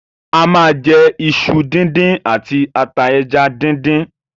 A ma jẹ iṣu díndín àti ata ẹja díndín.